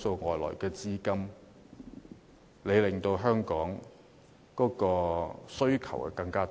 非本地資金令香港的物業需求大增。